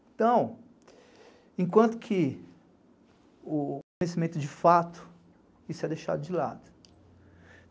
Então, enquanto que o conhecimento de fato, isso é deixado de lado.